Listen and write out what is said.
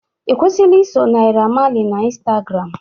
Ị kwusila iso Naira Marley na Instagram